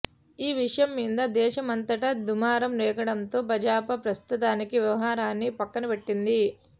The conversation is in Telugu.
ఈ విషయంమీద దేశమంతటా దుమారం రేగడంతో భాజపా ప్రస్తుతానికి వ్యవహారాన్ని పక్కనపెట్టింది